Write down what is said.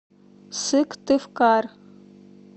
сыктывкар